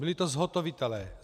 Byli to zhotovitelé.